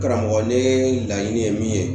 Karamɔgɔ ne laɲini ye min ye